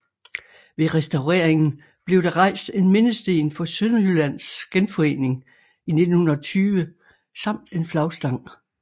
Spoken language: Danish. Ved restaureringen blev der rejst en mindesten for Sønderjyllands genforening i 1920 samt en flagstang